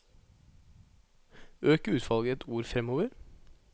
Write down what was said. Øk utvalget ett ord framover